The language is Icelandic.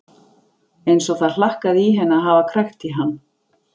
Eins og það hlakkaði í henni að hafa krækt í hann.